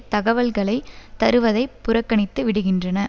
தகவல்களை தருவதைப் புறக்கணித்து விடுகின்றன